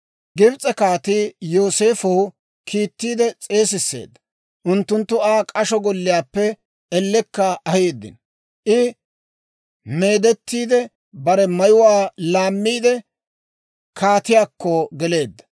Gibs'e kaatii Yooseefow kiittiide s'eesisseedda. Unttunttu Aa k'asho golliyaappe ellekka aheeddino. I meedettiide bare mayuwaa laammiide, kaatiyaakko geleedda.